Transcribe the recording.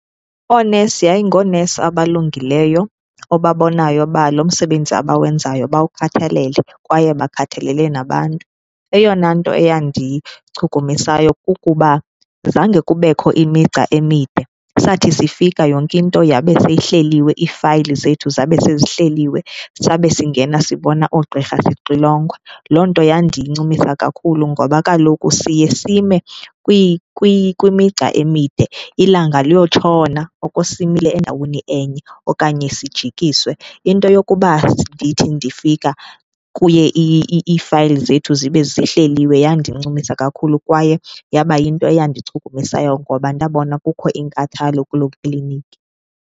Oonesi yayingoonesi abalungileyo obabonayo uba lo msebenzi abawenzayo bawukhathalele kwaye bakhathalele nabantu. Eyona nto eyandichukumisayo kukuba zange kubekho imigca emide, sathi sifika yonke into yabe seyihleliwe, iifayili zethu zabe sezihleliwe, sabe singena sibona oogqirha sixilongwa. Loo nto yandincumisa kakhulu ngoba kaloku siye sime kwimigca emide ilanga liyotshona oko simile endaweni enye okanye sijikiswe. Into yokuba ndithi ndifika kuye iifayili zethu zibe zihleliwe yandincumisa kakhulu kwaye yaba yinto eyandichukumisayo ngoba ndabona kukho inkathalo kuloo kliniki.